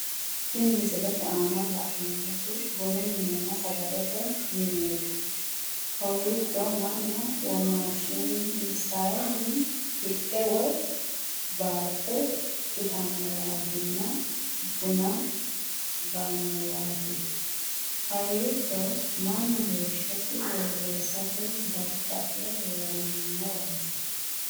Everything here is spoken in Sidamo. Tinni misilete aanna la'neemoti bunnu minenna sagalete mineeti kowiicho Manu womaashinsanni hidhe woyi baaxe itanowaatinna bunna ganowaati kowiicho Manu heeshosi woyeesate dada'le heeranowaati.